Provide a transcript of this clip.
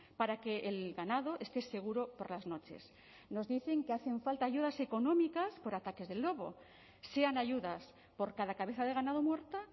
para que el ganado esté seguro por las noches nos dicen que hacen falta ayudas económicas por ataques del lobo sean ayudas por cada cabeza de ganado muerta